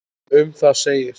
Um það segir